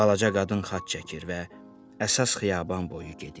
Balaca qadın xaç çəkir və əsas xiyaban boyu gedir.